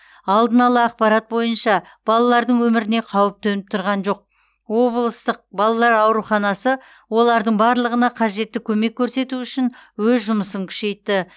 алдын ала ақпарат бойынша балалардың өміріне қауіп төніп тұрған жоқ облыстық балалар ауруханасы олардың барлығына қажетті көмек көрсету үшін өз жұмысын күшейтті